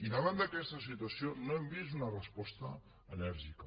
i davant d’aquesta situació no hem vist una resposta enèrgica